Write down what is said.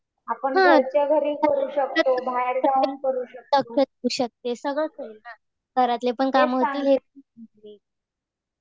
आपण घरच्या घरी करू शकतो. बाहेर जाऊन करू शकतो. तेच चालू